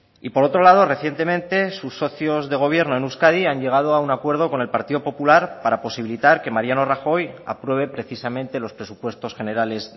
y por otro lado recientemente sus socios de gobierno en euskadi han llegado a un acuerdo con el partido popular para posibilitar que mariano rajoy apruebe precisamente los presupuestos generales